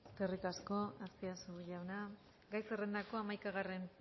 eskerrik asko azpiazu jauna gai zerrendako hamaikagarren